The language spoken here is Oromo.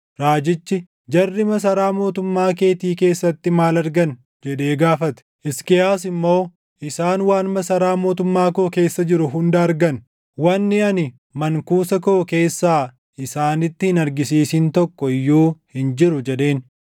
Raajichi, “Jarri masaraa mootummaa keetii keessatti maal argan?” jedhee gaafate. Hisqiyaas immoo, “Isaan waan masaraa mootummaa koo keessa jiru hunda argan; wanni ani mankuusa koo keessaa isaanitti hin argisiisin tokko iyyuu hin jiru” jedheen.